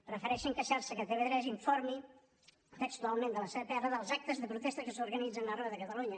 prefereixen queixar se que tv3 informi textualment de la seva pr dels actes de protesta que s’organitzen arreu de catalunya